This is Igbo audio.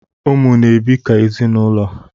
Ụmụ na-ebi ka ezinụlọ